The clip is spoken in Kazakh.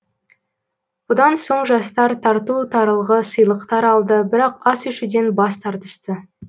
бұдан соң жастар тарту таралғы сыйлықтар алды бірақ ас ішуден бас тартысты